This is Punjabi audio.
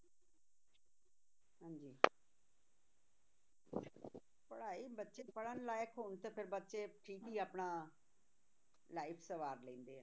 ਪੜ੍ਹਾਈ ਬੱਚੇ ਪੜ੍ਹਣ ਲਾਇਕ ਹੋਣ ਤੇ ਫਿਰ ਬੱਚੇ ਠੀਕ ਹੀ ਆਪਣਾ life ਸਵਾਰ ਲੈਂਦੇ ਆ।